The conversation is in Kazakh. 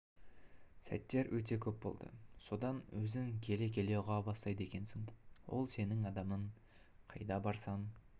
сәттер өте көп болды содан өзің келе-келе ұға бастайды екенсің ол сенің адамың қайда барсаң